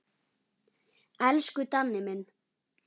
Elsku Danni minn.